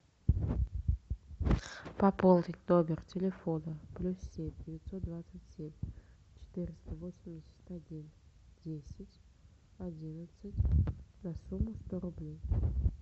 пополнить номер телефона плюс семь девятьсот двадцать семь четыреста восемьдесят один десять одиннадцать на сумму сто рублей